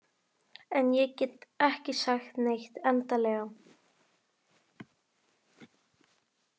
En ég get ekki sagt neitt endanlega.